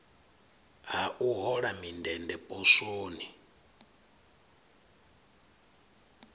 ha u hola mindende poswoni